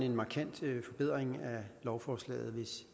en markant forbedring af lovforslaget hvis